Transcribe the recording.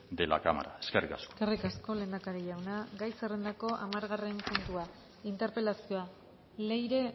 de la cámara eskerrik asko eskerrik asko lehendakari jauna gai zerrendako hamargarren puntua interpelazioa leire